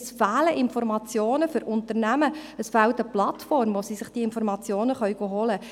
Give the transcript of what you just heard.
es fehlen Informationen für Unternehmen, es fehlt eine Plattform, wo sie sich diese Informationen holen können.